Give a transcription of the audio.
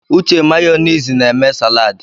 Uche Mayonezi na eme saladị.